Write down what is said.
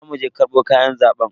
Za mu je karbo kayan zaben.